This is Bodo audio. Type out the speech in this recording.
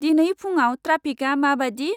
दिनै फुंआव ट्राफिका माबादि?